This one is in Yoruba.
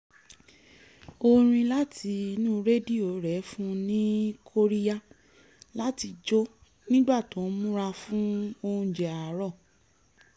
orin láti inú rẹdíò rẹ̀ fún un ní kóríyá láti jó nígbà tó ń múra fún oúnjẹ àárọ̀